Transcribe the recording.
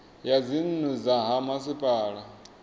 ya dzinnu dza ha masipala